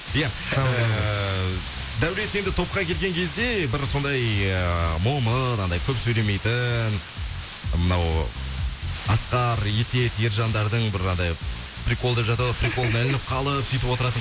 иә эээ даулет енді топқа келген кезде бір сондай эээ момын анаңдай көп сөйлемейтін мынау асқар есет ержандардың бір анандай приколдап жатады приколы ілініп қалып сүйтіп отыратын